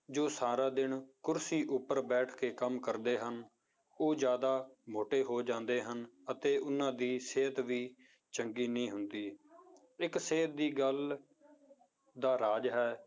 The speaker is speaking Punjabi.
ਜੋ ਸਾਰਾ ਦਿਨ ਕੁਰਸੀ ਉੱਪਰ ਬੈਠ ਕੇ ਕੰਮ ਕਰਦੇੇ ਹਨ, ਉਹ ਜ਼ਿਆਦਾ ਮੋਟੇ ਹੋ ਜਾਂਦੇ ਹਨ, ਅਤੇ ਉਹਨਾਂ ਦੀ ਸਿਹਤ ਵੀ ਚੰਗੀ ਨਹੀਂ ਹੁੰਦੀ, ਇੱਕ ਸਿਹਤ ਦੀ ਗੱਲ ਦਾ ਰਾਜ ਹੈ